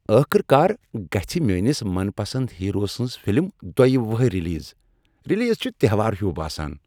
ٲخٕر کار، گژھ میٲنس من پسند ہیرو سٕنز فلم دۄیہ وہٕرۍ ریلیز، ریلیز چھ تہوار ہیو باسان۔